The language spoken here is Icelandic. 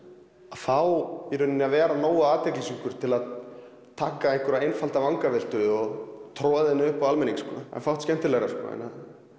að fá að vera nógu athyglissjúkur til að taka einfalda vangaveltu og troða henni upp á almenning það er fátt skemmtilegra en að